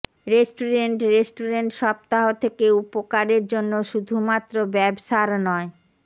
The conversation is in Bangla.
রেস্টুরেন্ট রেস্টুরেন্ট সপ্তাহ থেকে উপকারের জন্য শুধুমাত্র ব্যবসার নয়